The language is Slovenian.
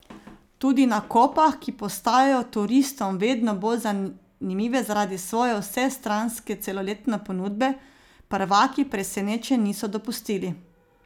Tudi na Kopah, ki postajajo turistom vedno bolj zanimive zaradi svoje vsestranske celoletne ponudbe, prvaki presenečenj niso dopustili.